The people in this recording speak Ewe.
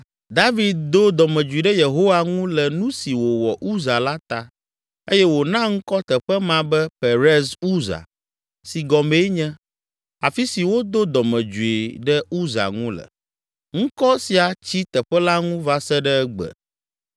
David do dɔmedzoe ɖe Yehowa ŋu le nu si wòwɔ Uza la ta eye wòna ŋkɔ teƒe ma be “Perez Uza” si gɔmee nye, “Afi si wodo dɔmedzoe ɖe Uza ŋu le.” Ŋkɔ sia tsi teƒe la ŋu va se ɖe egbe.